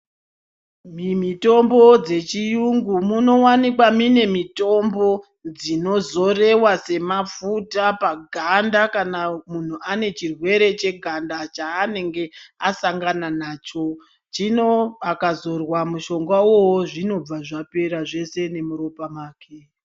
Mimitombo dzechiyungu munowanikwa mune mitombo dzinozorewa semafuta paganda kana munhu ane chirwere cheganda chaanenge asangana nacho. Zvino akadzorwa mushonga iwowo zvinobva zvapera zvese nemuropa make.